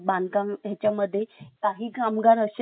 काही कामगार असे असतात की थोडंसं काम करतात